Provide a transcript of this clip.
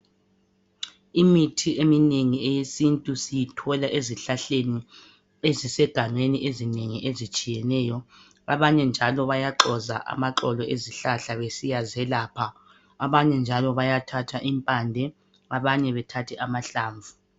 Imithi eminengi eyesintu siyithola ezihlahleni ezisegangeni. Ezinengi, ezitshiyeneyo. Abanye njalo bayaxoza amaxolo ezihlahla, besiyazelapha. Abanye njalo bayathatha impande. Abanye bethathe amahlamvu.